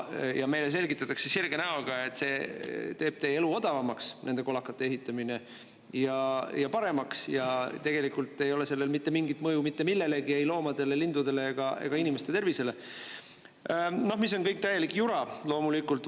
Ja meile selgitatakse sirge näoga, et see teeb teie elu odavamaks, nende kolakate ehitamine, ja paremaks ja tegelikult ei ole sellel mitte mingit mõju mitte millelegi, ei loomadele, lindudele ega inimeste tervisele, no mis on täielik jura, loomulikult.